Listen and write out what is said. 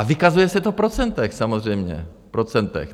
A vykazuje se to v procentech, samozřejmě v procentech.